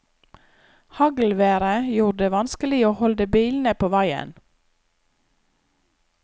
Haglværet gjorde det vanskelig å holde bilene på veien.